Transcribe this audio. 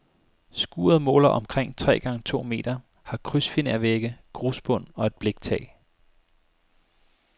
Skuret måler omkring tre gange to meter, har krydsfinervægge, grusbund og et bliktag.